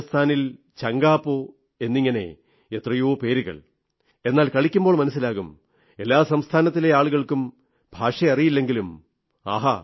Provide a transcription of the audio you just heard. രാജസ്ഥാനിൽ ചംഗാപോ എന്നിങ്ങനെ എത്രയോ പേരുകൾ എന്നാൽ കളിക്കുമ്പോൾ മനസ്സിലാകും എല്ലാ രാജ്യത്തിലെ ആളുകൾക്കും ഭാഷ അറിയില്ലെങ്കിലും ആഹാ